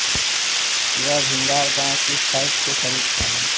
यह भिंगार गांव की साइट के करीब था